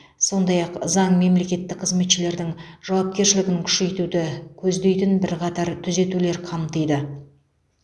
сондай ақ заң мемлекеттік қызметшілердің жауапкершілігін күшейтуді көздейтін бірқатар түзетулер қамтиды